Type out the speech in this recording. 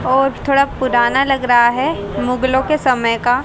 और थोड़ा पुराना लग रहा है मुगलों के समय का--